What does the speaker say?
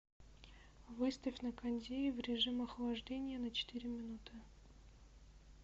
выставь на кондее в режим охлаждения на четыре минуты